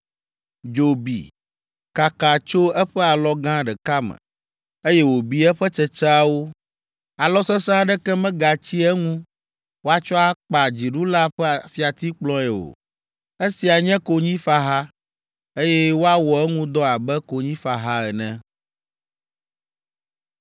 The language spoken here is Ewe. Dzo bi, kaka tso eƒe alɔ gã ɖeka me, eye wòbi eƒe tsetseawo. Alɔ sesẽ aɖeke megatsi eŋu woatsɔ akpa dziɖula ƒe fiatikplɔe o. Esia nye konyifaha, eye woawɔ eŋu dɔ abe konyifaha ene.’ ”